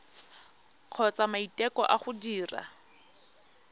kgotsa maiteko a go dira